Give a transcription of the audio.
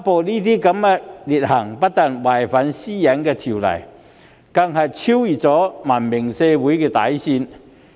這些劣行不但違反《個人資料條例》，更已逾越文明社會的底線。